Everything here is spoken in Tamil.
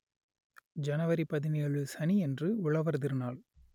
ஜனவரி பதினேழு சனி அன்று உழவர் திருநாள்